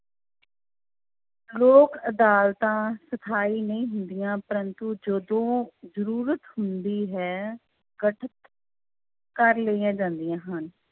ਲੋਕ ਅਦਾਲਤਾਂ ਸਥਾਈ ਨਹੀਂ ਹੁੰਦੀਆਂ ਪਰੰਤੂ ਜਦੋਂ ਜ਼ਰੂਰਤ ਹੁੰਦੀ ਹੈ ਗਠਿਤ ਕਰ ਲਈਆਂ ਜਾਂਦੀਆਂ ਹਨ।